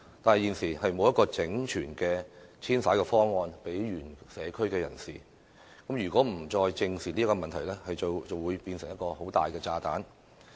可是，現時欠缺一個整全的方案為原社區人士作遷徙安排，如果政府再不正視這問題，便會演變成一個大炸彈。